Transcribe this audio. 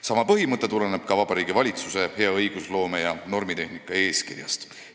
Sama põhimõte tuleneb ka Vabariigi Valitsuse hea õigusloome ja normitehnika eeskirjast.